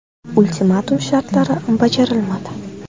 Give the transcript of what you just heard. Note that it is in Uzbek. Ultimatum shartlari bajarilmadi.